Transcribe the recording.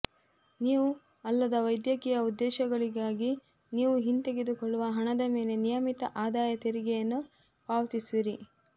ನೀವು ಅಲ್ಲದ ವೈದ್ಯಕೀಯ ಉದ್ದೇಶಗಳಿಗಾಗಿ ನೀವು ಹಿಂತೆಗೆದುಕೊಳ್ಳುವ ಹಣದ ಮೇಲೆ ನಿಯಮಿತ ಆದಾಯ ತೆರಿಗೆಯನ್ನು ಪಾವತಿಸುವಿರಿ